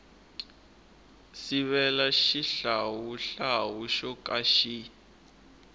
sivela xihlawuhlawu xo ka xi